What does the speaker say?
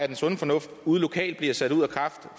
den sunde fornuft ude lokalt bliver sat ud af kraft